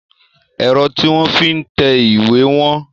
Ẹ̀rọ tí wọ́n fi ń tẹ ìwé wọ́n.